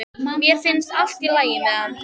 Mér finnst allt í lagi með hann.